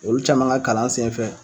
Olu caman ka kalan sen fɛ.